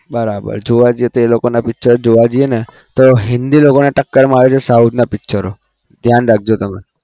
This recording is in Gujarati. બરાબર જોવા જઈએ તો એ લોકો ના picture જોવા જઈએ તો હિન્દી લોકોને ટકર મારે છે south ના picture ઓ ધ્યાન રાખજો તમને